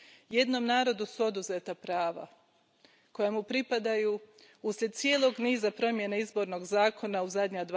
Jednom narodu su oduzeta prava koja mu pripadaju, uslijed cijelog niza promjena izbornog zakona u zadnja dva desetljeća.